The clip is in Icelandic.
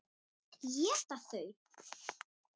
Éta þau?